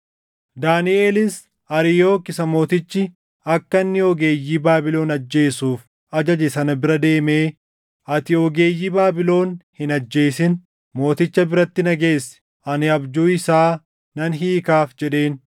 Daaniʼelis Ariyook isa mootichi akka inni ogeeyyii Baabilon ajjeesuuf ajaje sana bira deemee, “Ati ogeeyyii Baabilon hin ajjeesin. Mooticha biratti na geessi; ani abjuu isaa nan hiikaaf” jedheen.